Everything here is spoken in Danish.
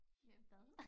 Øh hvad?